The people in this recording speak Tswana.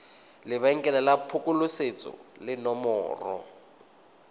lebenkele la phokoletso le nomoro